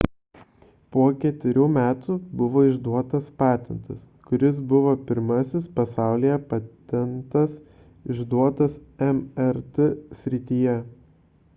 po ketverių metų buvo išduotas patentas kuris buvo pirmasis pasaulyje patentas išduotas mrt srityje